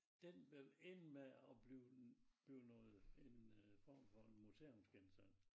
Den vil ende med at blive en blive noget en øh form for en museumsgenstand